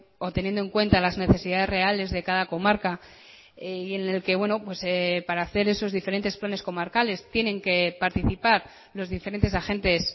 o teniendo en cuenta las necesidades reales de cada comarca y en el que para hacer esos diferentes planes comarcales tienen que participar los diferentes agentes